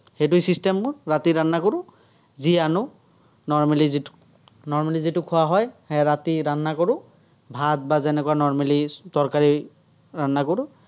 সেইটোয়ে system মোৰ। ৰাতি কৰোঁ, যি আনো normally normally যিটো খোৱা হয়, সেয়া ৰাতি কৰোঁ, ভাত বা যেনেকুৱা normally তৰকাৰী কৰোঁ।